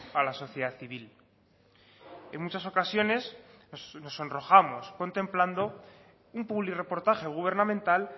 a la sociedad civil en muchas ocasiones nos sonrojamos contemplando un publirreportaje gubernamental